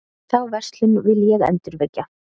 Þá verslun vil ég endurvekja.